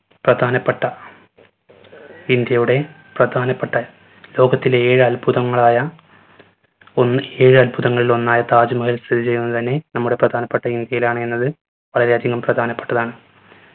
പ്രധാനപ്പെട്ട ഇന്ത്യയുടെ പ്രധാനപ്പെട്ട ലോകത്തിലെ ഏഴ് അത്ഭുതങ്ങളായ ഒന്ന് ഏഴ് അത്ഭുതങ്ങളിലൊന്നായ താജ് മഹൽ സ്ഥിതി ചെയ്യുന്നത് തന്നെ നമ്മുടെ പ്രധാനപ്പെട്ട ഇന്ത്യയിലാണ് എന്നത് വളരെ അധികം പ്രധാനപ്പെട്ടത്താണ്.